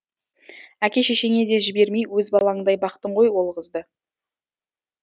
әке шешеңе де жібермей өз балаңдай бақтың ғой ол қызды